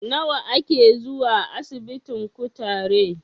Nawa a ke zuwa asibitin kutare?